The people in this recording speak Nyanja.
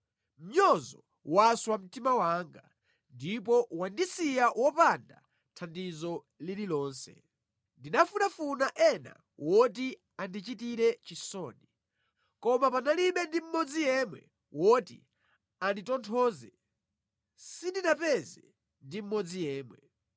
Mnyozo waswa mtima wanga ndipo wandisiya wopanda thandizo lililonse; ndinafunafuna ena woti andichitire chisoni, koma panalibe ndi mmodzi yemwe woti anditonthoze, sindinapeze ndi mmodzi yemwe.